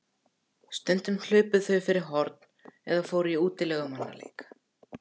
Stundum hlupu þau fyrir horn eða fóru í útilegumannaleik.